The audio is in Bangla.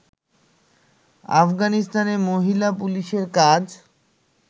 আফগানিস্তানে মহিলা পুলিশের কাজ